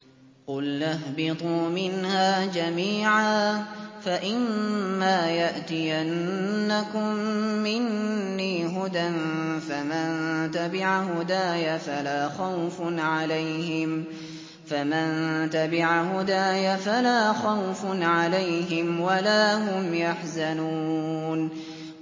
قُلْنَا اهْبِطُوا مِنْهَا جَمِيعًا ۖ فَإِمَّا يَأْتِيَنَّكُم مِّنِّي هُدًى فَمَن تَبِعَ هُدَايَ فَلَا خَوْفٌ عَلَيْهِمْ وَلَا هُمْ يَحْزَنُونَ